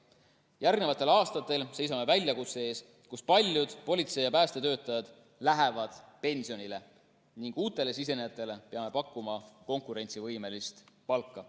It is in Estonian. Järgnevatel aastatel seisame väljakutse ees, et paljud politsei‑ ja päästetöötajad lähevad pensionile ning uutele sisenejatele peame pakkuma konkurentsivõimelist palka.